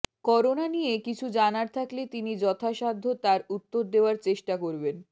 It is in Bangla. করোনা নিয়ে কিছু জানার থাকলে তিনি যথাসাধ্য তার উত্তর দেওয়ার চেষ্টা করবেন